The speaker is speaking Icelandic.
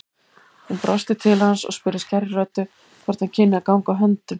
Hún brosti til hans og spurði skærri röddu hvort hann kynni að ganga á höndum.